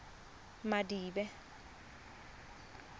madibe